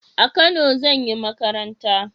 A kano zan yi makaranta